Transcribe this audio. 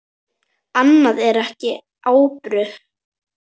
Annað er ekki ábyrgt.